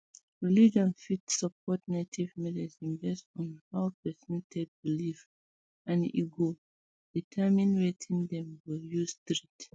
religion fit support native medicine based on um how person take believe and e go determine wetin dem go use treat